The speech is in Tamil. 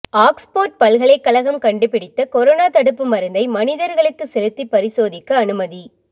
ஆக்ஸ்போர்டு பல்கலைக்கழகம் கண்டுபிடித்த கொரோனா தடுப்பு மருந்தை மனிதர்களுக்கு செலுத்தி பரிசோதிக்க அனுமதி